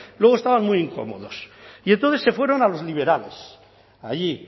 luego estaban muy incómodos y entonces se fueron a los liberales allí